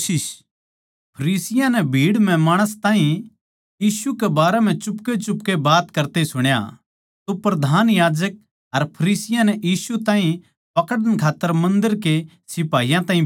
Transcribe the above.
भीड़ म्ह माणस यीशु के बारें म्ह चुपकेचुपके के बात करण लागरे सै जिब फरीसियाँ नै सुण्या अर प्रधान याजकां अर फरीसियाँ नै उस ताहीं पकड़न कै खात्तर मन्दर म्ह सिपाहियाँ ताहीं भेज्या